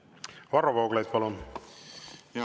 Varro Vooglaid, palun!